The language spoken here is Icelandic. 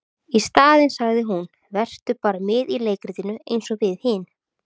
Í staðinn sagði hún:- Vertu bara með í leikritinu eins og við hin.